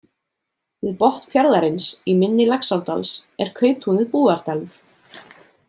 Við botn fjarðarins, í mynni Laxárdals, er kauptúnið Búðardalur.